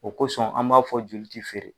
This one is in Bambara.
O kosɔn an b'a fɔ joli ti feere.